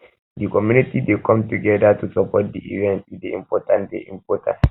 di community dey come togedir to support di event e dey important dey important